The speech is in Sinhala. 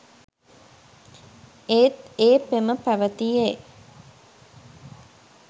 ඒත් ඒ පෙම පැවැතියේ